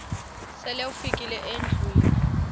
sele ufikile endlwini